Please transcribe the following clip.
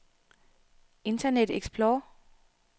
internet explorer